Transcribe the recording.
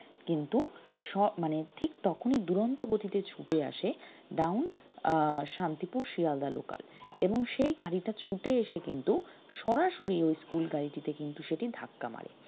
কিন্তু মানে ঠিক তখনই দুরন্ত গতিতে ছুটে আসে down আহ শান্তিপুর শিয়ালদাহ local এবং সেই গাড়িটা ছুটে এসে কিন্তু সরাসরি ওই school গাড়িটিতে কিন্তু সেটি ধাক্কা মারে